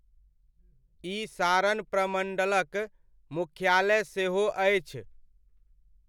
ई सारन प्रमण्डलक मुख्यालय सहो अछि।